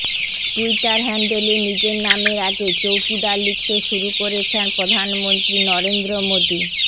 Twitter হ্যান্ডেলে নিজের নামের আগে চৌকিদার লিখতে শুরু করেছেন প্রধানমন্ত্রী নরেন্দ্র মোদী